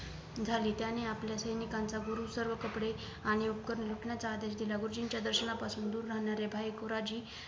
झाली त्यांनी आपल्या सेनिकांचा गुरु सर्व कपडे आणि उपकरण घेतण्याचा आदेश दिला गुरुजींच्या दर्शनापासून दूर राहणारे भाई गुराजी